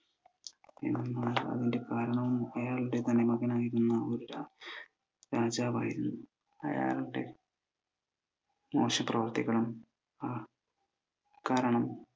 അതിനു കാരണം അയാളുടെ മരുമകനായിരുന്നു, ഒരു രാജാവായിരുന്നു. അയാളുടെ മോശം പ്രവർത്തികളും കാരണം,